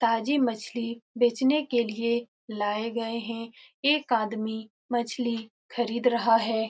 ताज़ी मछली बेचने के लिए लाए गए हैं एक आदमी मछली खरीद रहा है।